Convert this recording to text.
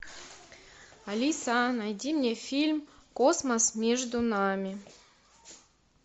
алиса найди мне фильм космос между нами